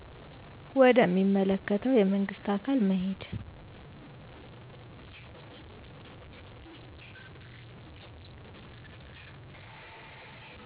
ወደ ሚመለከተ የመንግስት አካል መሄድ